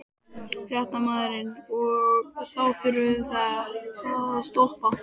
Fréttamaður: Og þá þurftuð þið að stoppa?